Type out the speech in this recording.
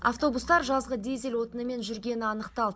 автобустар жазғы дизель отынымен жүргені анықталды